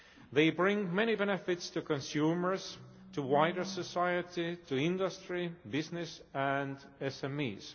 They bring many benefits to consumers, to wider society, to industry, business and SMEs.